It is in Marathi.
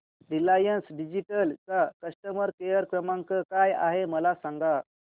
रिलायन्स डिजिटल चा कस्टमर केअर क्रमांक काय आहे मला सांगा